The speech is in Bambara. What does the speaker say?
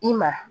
I ma